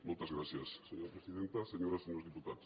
moltes gràcies senyora presidenta senyores i senyors diputats